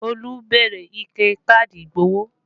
Olú béèrè ike káàdì ìgbowó